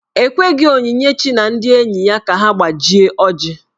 E kweghi Onyinyechi na ndị enyi ka ha gbajie ọjị.